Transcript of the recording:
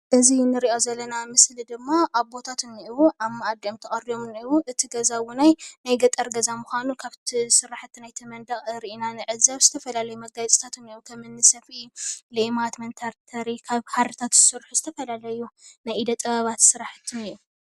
እዚ እንሪኦ ዘለና ምስሊ ድማ ኣቦታት እንኤዉ ኣብ መኣዲ እዮም ተቐሪቦም እንኤዉ እቲ ገዛ ዉነይ ናይ ገጠር ገዛ ምኳኑ ካብቲ ስራሕቲ ናይቲ መንደቕ ሪእና ንዕዘብ ዝተፈላለዩ መጋየፅታት እንኤዉ ከምኒ ሰፍኢ፣ ሌማት፣ መንተርተሪ ካብ ሃርታት ዝተሰርሑ ዝተፈላለዩ ናይ ኢደ ጥበባት ስራሕቲ እንኤ።